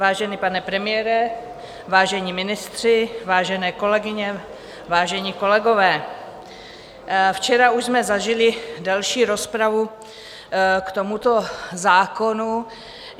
Vážený pane premiére, vážení ministři, vážené kolegyně, vážení kolegové, včera už jsme zažili delší rozpravu k tomuto zákonu.